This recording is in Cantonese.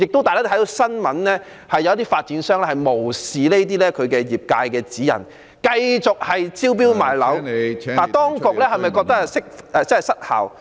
大家看看新聞報道，也知道有些發展商無視業界的指引，繼續招標賣樓，當局是否......